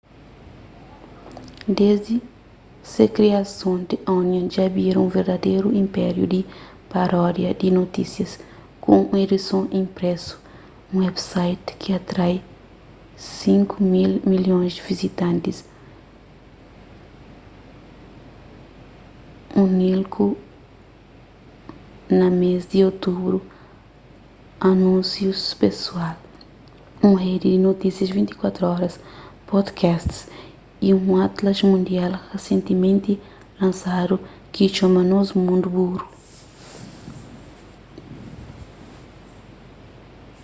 desdi di se kriason the onion dja bira un verdaderu inpériu di paródia di notisias ku un edison inpresu un website ki atrai 5.000.000 vizitantis únilku na mês di otubru anúnsius pesoal un redi di notísias 24 oras podcasts y un atlas mundial risentimenti lansadu ki txoma nos mundu buru